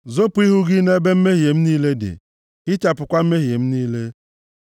Zopu ihu gị nʼebe mmehie m niile dị, hichapụkwa mmehie m niile.